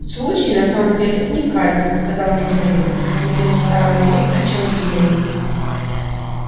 случай на самом деле уникальный сказал михаил видимо сообразив о чем я думаю